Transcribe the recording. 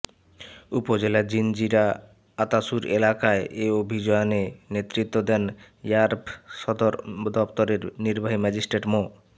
উপজেলার জিনজিরা আতাসুর এলাকায় এ অভিযানে নেতৃত্ব দেন র্যাব সদর দপ্তরের নির্বাহী ম্যাজিস্ট্রেট মো